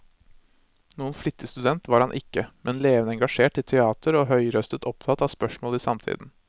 Noen flittig student var han ikke, men levende engasjert i teater og høyrøstet opptatt av spørsmål i samtiden.